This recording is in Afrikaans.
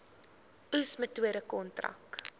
oes metode kontrak